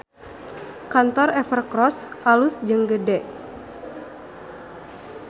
Kantor Evercross alus jeung gede